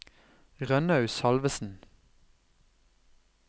Rønnaug Salvesen